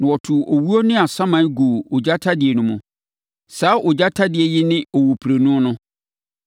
Na wɔtoo owuo ne asaman guu ogya tadeɛ no mu. Saa ogya tadeɛ yi ne owuprenu no.